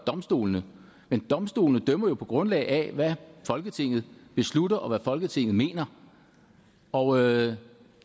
domstolene men domstolene dømmer jo på grundlag af hvad folketinget beslutter og hvad folketinget mener og